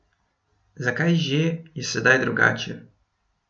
Zakaj že je sedaj drugače?